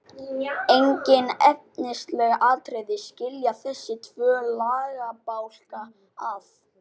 Engin efnisleg atriði skilja þessa tvo lagabálka að.